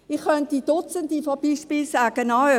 Ich könnte Dutzende Beispiele nennen.